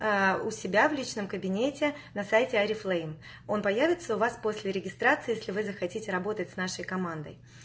у себя в личном кабинете на сайте орифлейм он появится у вас после регистрации если вы захотите работать с нашей командой